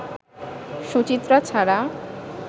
সুচিত্রা ছাড়া